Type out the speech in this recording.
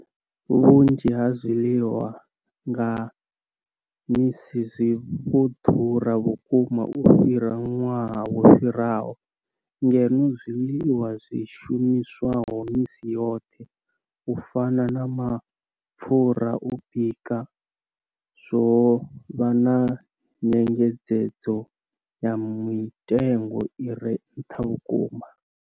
Vhunzhi ha zwiḽiwa zwa nga misi zwi vho ḓura vhukuma u fhira ṅwaha wo fhiraho, ngeno zwiḽiwa zwi shumiswaho misi yoṱhe u fana na mapfhura a u bika zwo vha na nyengedzedzo ya mitengo i re nṱha vhukuma.